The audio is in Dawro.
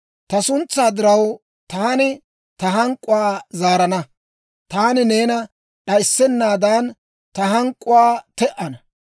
«Ta suntsaa diraw, taani ta hank'k'uwaa zaarana; taani neena d'ayissennaadan, ta hank'k'uwaa te"ana.